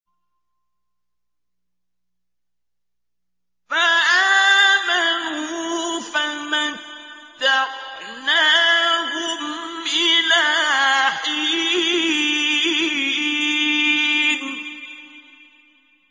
فَآمَنُوا فَمَتَّعْنَاهُمْ إِلَىٰ حِينٍ